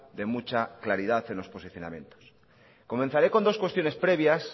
de mucha claridad en los posicionamientos comenzaré con dos cuestiones previas